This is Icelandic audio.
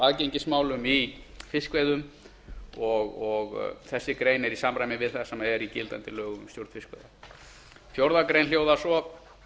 aðgengismálum í fiskveiðum þessi grein er í samræmi við það sem er í gildandi lögum um stjórn fiskveiða fjórðu grein hljóðar svo